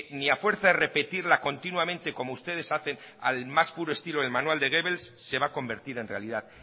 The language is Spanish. ni a fuerza de repetirla continuamente como ustedes hacen al más puro estilo del manual de goebbels se va a convertir en realidad